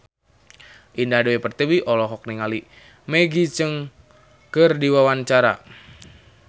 Indah Dewi Pertiwi olohok ningali Maggie Cheung keur diwawancara